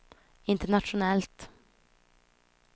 internationellt